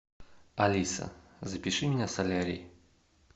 алиса запиши меня в солярий